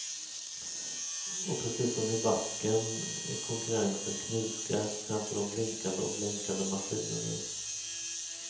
Och precis som i backen är konkurrensen knivskarp framför de blinkande och blänkande maskinerna.